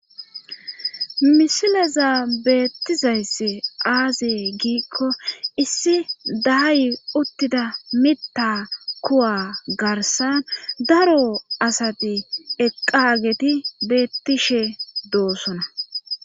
misileza beettizayssi aaze giikko issi daayi uttida mitta kuwa garsa daro asati eqqageti beettishe doosona